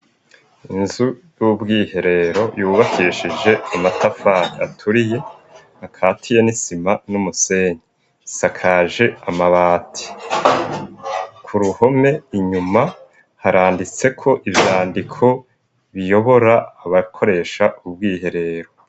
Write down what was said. Inzu y'ubwiherero, yubakeshije amatafari aturiye akatiye n'isima n'umusenyi, asakaje amabati, k'uruhome inyuma haranditseko ivyandiko biyobora abakoresha ubwiherero.